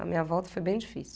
A minha volta foi bem difícil.